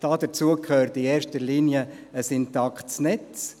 Dazu gehört in erster Linie ein intaktes Netzt.